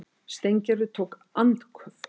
Steingerður tók andköf.